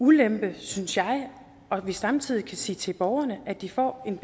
ulempe synes jeg at vi samtidig kan sige til borgerne at de får en